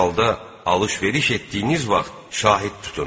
Hər halda alış-veriş etdiyiniz vaxt şahid tutun.